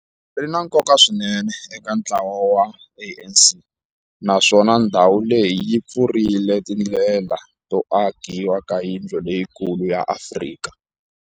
Ri na nkoka swinene eka ntlawa wa ANC, naswona ndhawu leyi yi pfurile tindlela to akiwa ka yindlu leyikulu ya Afrika.